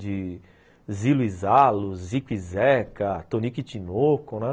De Zilo e Zalo, Zico e Zeca, Tonico e Tinoco, né?